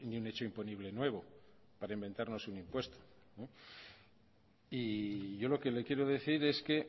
un hecho imponible nuevo para inventarnos un impuesto yo lo que le quiero decir es que